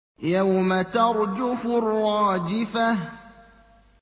يَوْمَ تَرْجُفُ الرَّاجِفَةُ